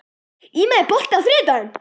Íma, er bolti á þriðjudaginn?